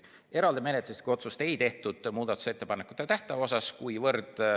Eraldi menetluslikku otsust ei tehtud muudatusettepanekute tähtaja kohta.